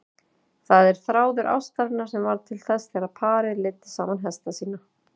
Það er þráður ástarinnar sem varð til þegar parið leiddi saman hesta sína.